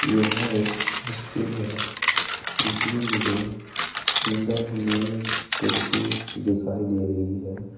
यह एक स्कूल है जिसमें मुझे अंदर मेज कुर्सी दिखाई दे रही है।